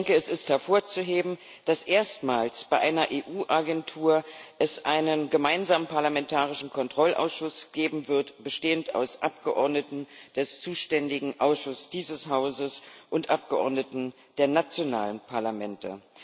Es ist hervorzuheben, dass es erstmals bei einer EU Agentur einen gemeinsamen parlamentarischen Kontrollausschuss geben wird, bestehend aus Abgeordneten des zuständigen Ausschusses dieses Hauses und Abgeordneten der nationalen Parlamente.